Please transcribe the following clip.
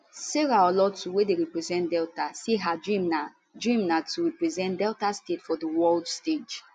sarah olotu wey dey represent delta say her dream na dream na to represent nigeria for di world stage